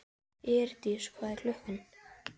Eirdís, hvað er klukkan?